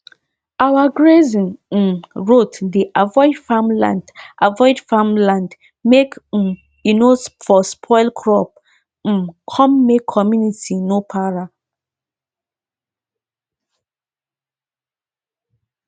i see one plenty sheep dey um rest under mango tree for mango tree for inside um the area wey dem dey feed animal